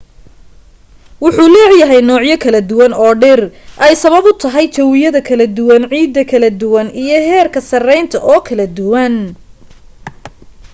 wuxuu leeyahay noocyo kala duwan oo dhir ay sabab u tahay jawiyada kala duwan ciida kala duwan iyo heerka sareynta oo kala duwan